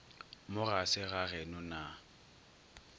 mo ga se gageno na